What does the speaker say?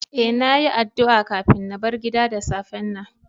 E,na yi addu a kafin na bar gida da safen nan.